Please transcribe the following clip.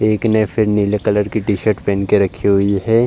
एक ने फिर नीले कलर की टी-शर्ट पेहेन के रखी हुई है।